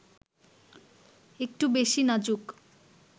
একটু বেশি নাজুক